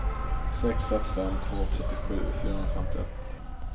sex ett fem två trettiosju fyrahundrafemtioett